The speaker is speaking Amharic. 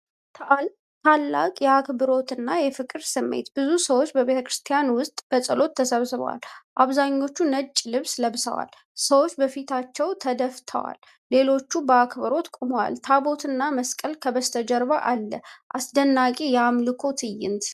ታላቅ የአክብሮትና የፍቅር ስሜት! ብዙ ሰዎች በቤተክርስቲያን ውስጥ በጸሎት ተሰብስበዋል። አብዛኞቹ ነጭ ልብስ ለብሰዋል። ሰዎች በፊታቸው ተደፍተዋል፣ ሌሎችም በአክብሮት ቆመዋል። ታቦትና መስቀል ከበስተጀርባ አለ። አስደናቂ የአምልኮ ትዕይንት!